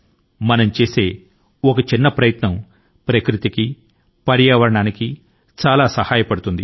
మనం చేసే చిన్న ప్రయత్నం ప్రకృతి కి చాలా సాయపడుతుంది